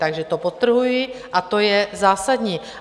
Takto to podtrhuji a to je zásadní.